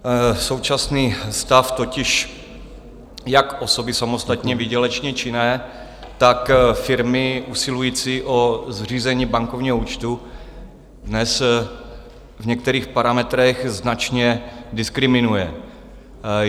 Současný stav totiž jak osoby samostatně výdělečně činné, tak firmy usilující o zřízení bankovního účtu dnes v některých parametrech značně diskriminuje.